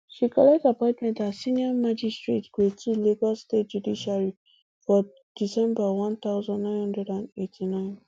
she collect appointment as senior magistrate grade ii lagos state judiciary for december one thousand, nine hundred and eighty-nine